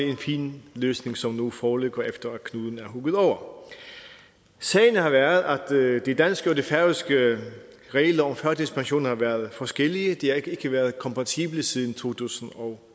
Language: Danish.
en fin løsning som nu foreligger efter at knuden er hugget over sagen har været at de danske og de færøske regler om førtidspension har været forskellige de har ikke været kompatible siden to tusind og